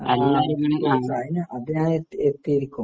അത് ഞാൻ എന്തായാലും എത്തി എത്തിയിരിക്കും.